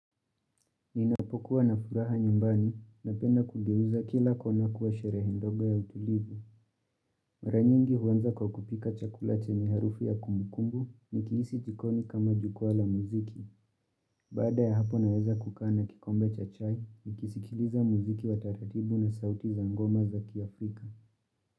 Ninapokuwa na furaha nyumbani na penda kugeuza kila kwa nakuwa shere ndogo ya utulivu. Mara nyingi huwanza kwa kupika chakula chenye harufu ya kumukumbu nikihisi jikoni kama jukuwaa la muziki. Bada ya hapo naweza kukaa na kikombe cha chai ni kisikiliza muziki wa taratibu na sauti za ngoma za kiafrika.